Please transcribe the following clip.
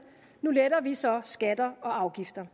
nu letter vi så skatter og afgifter